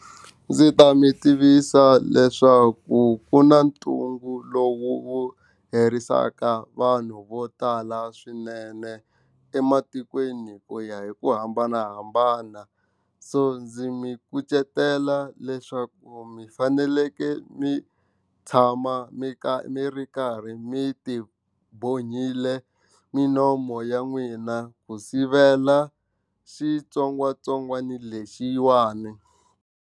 Ndzi ta mi tivisa leswaku ku na ntungu lowu herisaka vanhu vo tala swinene ematikweni ku ya hi ku hambanahambana so ndzi mi kucetela leswaku mi fanekele mi tshama mi karhi mi ri karhi mi ti bohile minomo ya n'wina ku sivela xitsongwatsongwana lexiwani.